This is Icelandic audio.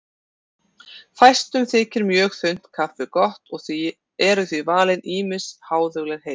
Fæstum þykir mjög þunnt kaffi gott og eru því valin ýmis háðuleg heiti.